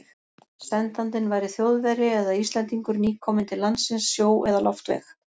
Sendandinn væri Þjóðverji eða Íslendingur, nýkominn til landsins sjó- eða loftveg.